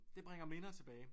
Det bringer minder tilbage